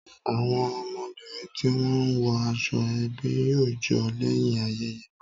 Àwọn ọmọbìnrin ti wọn wo aṣọ ebi yóò jo lẹ́yìn ayẹyẹ